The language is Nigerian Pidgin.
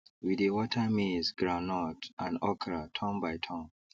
we dey water maizegroundnut and okra turn by turn